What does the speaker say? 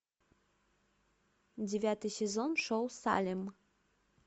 девятый сезон шоу салем